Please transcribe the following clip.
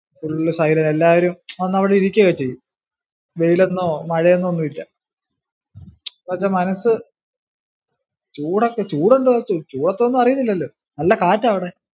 Full side ഇല് എല്ലാരും വന്നവിടെ ഇരിക്കുവല്ലിയോ. വെയിലെന്നോ മഴയെന്നോ ഒന്നും ഇല്ല എന്ന് വെച്ചാ മനസ്സ്, ചൂടൊക്കെ ചൂടൊണ്ട് ചൂടൊന്നും അറിയുന്നില്ലല്ലോ, നല്ല കാറ്റാ അവിടെ